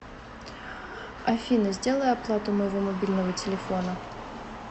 афина сделай оплату моего мобильного телефона